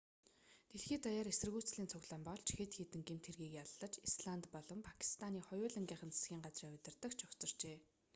дэлхий даяар эсэргүүцлийн цуглаан болж хэд хэдэн гэмт хэргийг яллаж исланд болон пакистаны хоёулангийнх нь засгийн газрын удирдагч огцорчээ